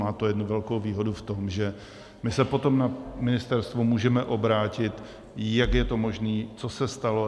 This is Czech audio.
Má to jednu velkou výhodu v tom, že my se potom na ministerstvo můžeme obrátit, jak je to možné, co se stalo.